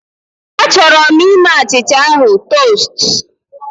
Achọrọ m ime achịcha ahụ tost